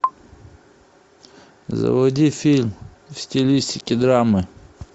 заводи фильм в стилистике драмы